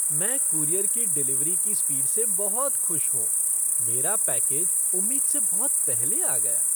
मैं कूरियर की डिलीवरी की स्पीड से बहुत खुश हूँ। मेरा पैकेज उम्मीद से बहुत पहले आ गया!